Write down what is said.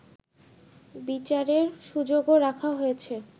বিচারের সুযোগও রাখা হয়েছে